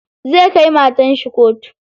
Zai kai matar shi kotu.